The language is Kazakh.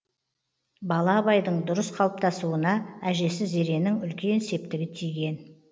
бала абайдың дұрыс қалыптасыуна әжесі зеренің үлкен септігі тиген